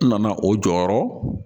N nana o jɔyɔrɔ